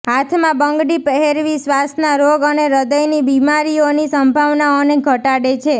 હાથમાં બંગડી પહેરવી શ્વાસના રોગ અને હ્ર્દયની બીમારીઓની સંભાવનાઓને ઘટાડે છે